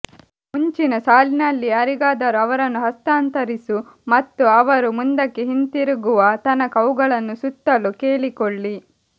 ಮುಂಚಿನ ಸಾಲಿನಲ್ಲಿ ಯಾರಿಗಾದರೂ ಅವರನ್ನು ಹಸ್ತಾಂತರಿಸು ಮತ್ತು ಅವರು ಮುಂದಕ್ಕೆ ಹಿಂತಿರುಗುವ ತನಕ ಅವುಗಳನ್ನು ಸುತ್ತಲು ಕೇಳಿಕೊಳ್ಳಿ